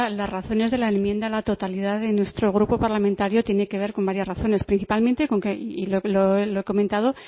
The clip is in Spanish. las razones de la enmienda a la totalidad de nuestro grupo parlamentario tiene que ver con varias razones principalmente con que y lo he comentado